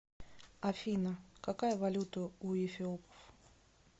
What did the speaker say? афина какая валюта у эфиопов